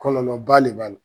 Kɔlɔlɔba le b'a la.